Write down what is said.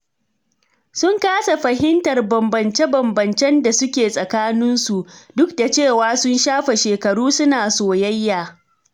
Sun kasa fahimtar bambance-bambancen da suke tsakaninsu, duk da cewa sun shafe shekaru suna soyayya.